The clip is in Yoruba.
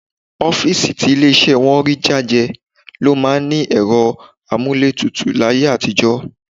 Ọ́fíìsì tí ilé iṣẹ́ wọn rí jájẹ ló máa ń ní ẹ̀rọ amúlétutù láyé àtijọ́